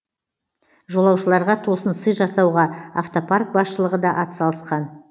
жолаушыларға тосын сый жасауға автопарк басшылығы да атсалысқан